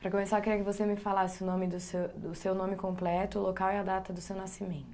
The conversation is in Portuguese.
Para começar, eu queria que você me falasse o nome do seu, o seu nome completo, o local e a data do seu nascimento.